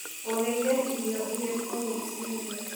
ũrĩire irio irĩkũ rũcinĩ?